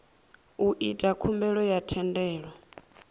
u ita khumbelo ya thendelo